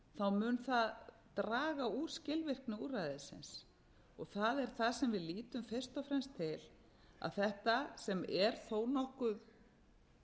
mál mun það draga úr skilvirkni úrræðisins það er það sem við lítum fyrst og fremst til að þetta sem er þó nokkuð